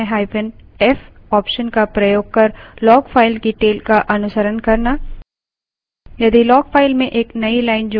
tail command का सबसे उपयोगी option है –f option का प्रयोग कर log file की tail का अनुसरण करना